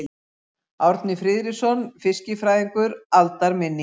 Árni Friðriksson fiskifræðingur: Aldarminning.